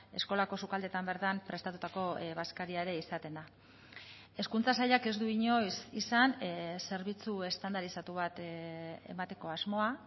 eskolako sukaldeetan bertan prestatutako bazkaria ere izaten da hezkuntza sailak ez du inoiz izan zerbitzu estandarizatu bat emateko asmoa